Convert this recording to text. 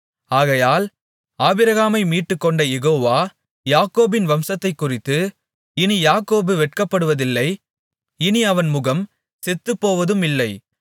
ஆகையால் ஆபிரகாமை மீட்டுக்கொண்ட யெகோவா யாக்கோபின் வம்சத்தைக்குறித்து இனி யாக்கோபு வெட்கப்படுவதில்லை இனி அவன் முகம் செத்துப்போவதுமில்லை